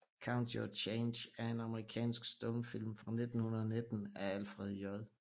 Count Your Change er en amerikansk stumfilm fra 1919 af Alfred J